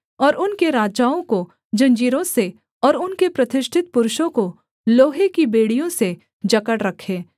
और उनके राजाओं को जंजीरों से और उनके प्रतिष्ठित पुरुषों को लोहे की बेड़ियों से जकड़ रखें